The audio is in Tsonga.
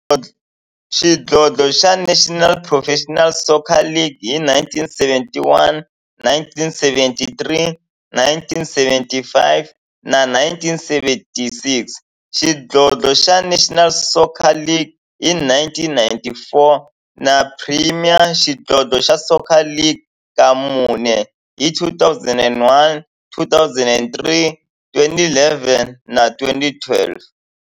xidlodlo xa National Professional Soccer League hi 1971, 1973, 1975 na 1976, xidlodlo xa National Soccer League hi 1994, na Premier Xidlodlo xa Soccer League ka mune, hi 2001, 2003, 2011 na 2012.